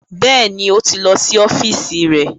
Bẹ́ẹ̀ni, ó ti lọ sí ọ́fíìsì rẹ̀